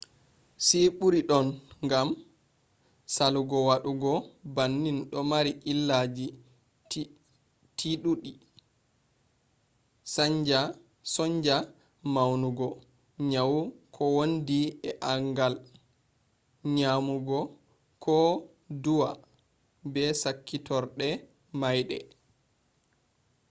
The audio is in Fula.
si ɓuri don gam salugo wadu bannin do mari illaji tiɗudi; sonja mawnugo nyawu ko wondi e angal nyamugo ko duwa be sakkitorɗe maiɗe